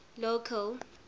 local